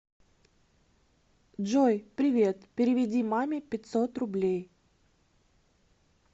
джой привет переведи маме пятьсот рублей